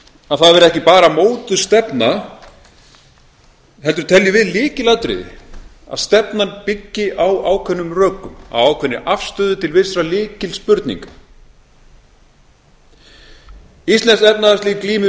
að það verði ekki bara mótuð stefna heldur teljum við lykilatriði að stefnan byggi á ákveðnum rökum á ákveðinni afstöðu til vissra lykilspurninga íslenskt efnahagslíf glímir við